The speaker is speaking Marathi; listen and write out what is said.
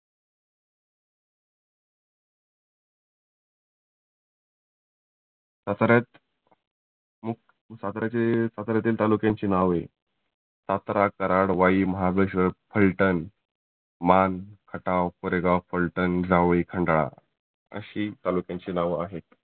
साताऱ्यात साताऱ्याचे साताऱ्यातील तालुक्यांची नाव आहे. सातारा, कराड, वाई, महाबळेश्वर, फल्टन, मान, खटाव, कोरेगाव, फल्टन, जावळी, खंडाळा आशी तालुक्यांची नाव आहे.